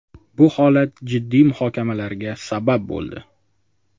Bu holat jiddiy muhokamalarga sabab bo‘ldi.